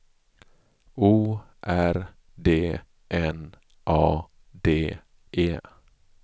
O R D N A D E